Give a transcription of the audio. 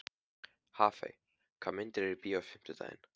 Hafey, hvaða myndir eru í bíó á fimmtudaginn?